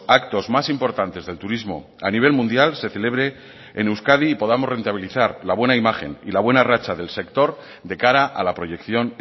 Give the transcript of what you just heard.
actos más importantes del turismo a nivel mundial se celebre en euskadi y podamos rentabilizar la buena imagen y la buena racha del sector de cara a la proyección